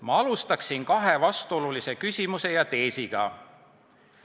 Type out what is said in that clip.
Ma alustan kahe vastuolulise küsimuse ja teesiga.